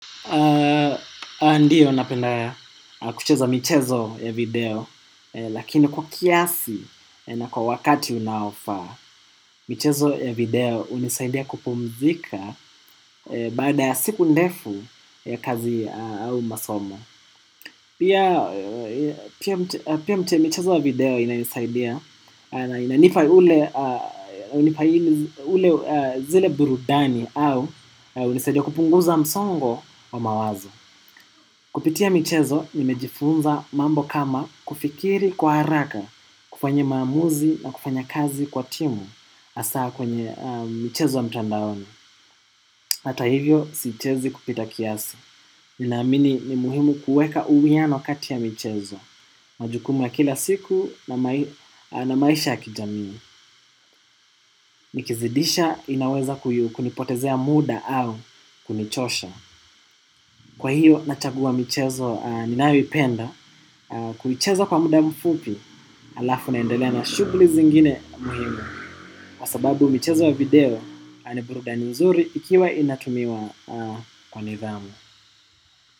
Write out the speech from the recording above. Ndio unapenda kucheza michezo ya video lakini kwa kiasi na kwa wakati unaofa, michezo ya video hunisaidia kupumzika baada siku ndefu ya kazi au masomo. Pia mte michezo ya video inaisaidia na inanipa ule zile burudani au hunisaidia kupunguza msongo wa mawazo. Kupitia michezo nimejifunza mambo kama kufikiri kwa haraka, kufanya maamuzi na kufanya kazi kwa timu hasaa kwenye michezo mtandaoni. Hata hivyo sichezi kupita kiasa. Nina amini ni muhimu kuweka uwiano kati ya michezo. Majukumu kila siku na maisha ya kijamii. Nikizidisha inaweza kuyu kunipotezea muda au kunichosha. Kwa hiyo nachaguwa michezo ninayoipenda kuicheza kwa muda mfupi alafu na endelea na shughuli zingine muhimi kwa sababu michezo wa video ani burudani nzuri ikiwa inatumiwa kwa nidhamu.